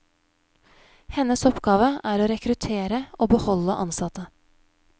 Hennes oppgave er å rekruttere og beholde ansatte.